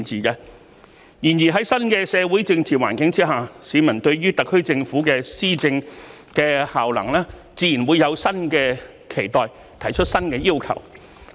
然而，在新的社會政治環境之下，市民對於特區政府的施政效能自然會有新的期待，提出新的要求。